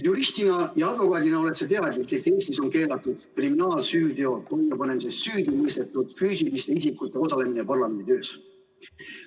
Juristina ja advokaadina oled sa teadlik, et Eestis on keelatud kriminaalsüüteo toime panemises süüdi mõistetud füüsiliste isikute osalemine parlamendi töös.